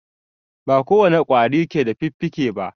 A a ba ko wane ƙwari ke da fiffike ba.